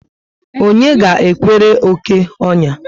Onye ga ekwere oké onya?